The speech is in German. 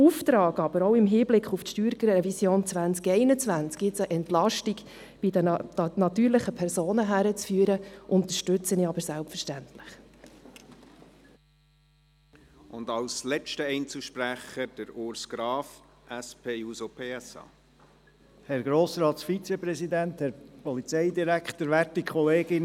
Aber den Auftrag, eine Entlastung bei den natürlichen Personen herbeizuführen, auch im Hinblick auf die StG-Revision 2021, unterstütze ich selbstverständlich.